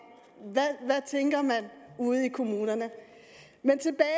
jeg tænker man ude i kommunerne men tilbage